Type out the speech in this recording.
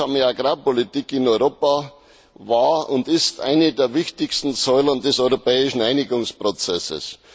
Die Gemeinsame Agrarpolitik in Europa war und ist eine der wichtigsten Säulen des europäischen Einigungsprozesses.